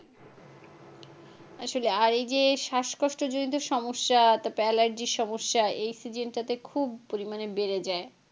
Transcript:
আসলে এই যে শ্বাসকষ্ট জনিত সমস্যা তারপর allergy র সমস্যা এই season টা তে খুব পরিমানে বেড়ে যায়।